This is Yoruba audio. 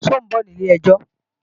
Ṣé ọ̀ ń bọ̀ ní ilé-ẹjọ́?